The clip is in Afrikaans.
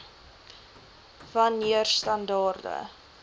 wan neer standaarde